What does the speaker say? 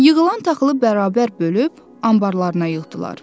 Yığılan taxılı bərabər bölüb anbarlarına yığdılar.